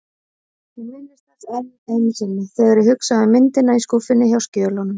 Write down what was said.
Ég minnist þess enn einu sinni, þegar ég hugsa um myndina í skúffunni hjá skjölunum.